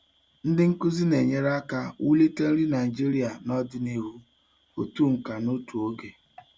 Ndị nkuzi na-enyere aka wulite nri Nigeria n'ọdịnihu otu nka n'otu oge.